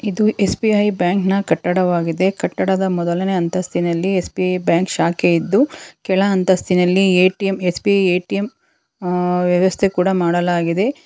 ಇದು S B I bank ನ ಕಟ್ಟವಾಗಿದ್ದೆ ಕಟ್ಟಡದ ಮೊದಲನೇ ಹಂತಸ್ತಿನಲ್ಲಿ ಎಸ್_ಬಿ_ಐ ಬ್ಯಾಂಕ್ ಶಾಖೆ ಇದ್ದು ಕೆಳ ಅಂತಸ್ತಿನಲ್ಲಿ ಎ_ಟಿ_ಎಂ ಎಸ್_ಬಿ_ಐ ಎ_ಟಿ_ಎಂ ಅ ವ್ಯವಸ್ಥೆ ಕೂಡ ಮದಲಾಗಿದೆ.